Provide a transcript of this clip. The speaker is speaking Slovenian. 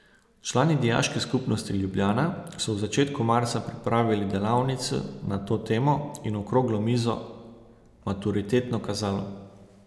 Člani Dijaške skupnosti Ljubljana so v začetku marca pripravili delavnico na to temo in okroglo mizo Maturitetno kazalo.